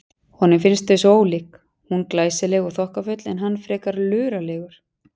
Honum finnst þau svo ólík, hún glæsileg og þokkafull en hann frekar luralegur.